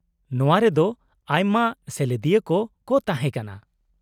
-ᱱᱚᱶᱟ ᱨᱮᱫᱚ ᱟᱭᱢᱟ ᱥᱮᱞᱮᱫᱤᱭᱟᱹᱠᱚ ᱠᱚ ᱛᱟᱦᱮᱸ ᱠᱟᱱᱟ ᱾